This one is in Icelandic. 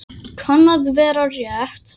Kann að vera rétt.